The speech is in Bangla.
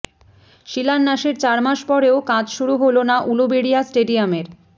শিলান্যাসের চার মাস পরেও কাজ শুরু হল না উলুবেড়িয়া স্টেডিয়ামের